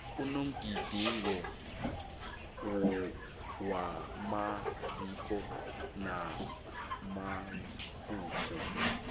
kunomgidingo wamasiko namagugu